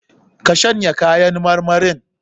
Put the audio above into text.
Ka shanya kayan marmarin?